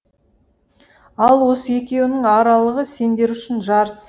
ал осы екеуінің аралығы сендер үшін жарыс